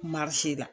la